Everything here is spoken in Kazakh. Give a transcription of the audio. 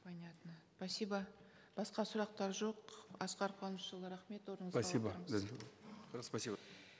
понятно спасибо басқа сұрақтар жоқ асқар қуанышұлы рахмет орныңызға отырыңыз спасибо спасибо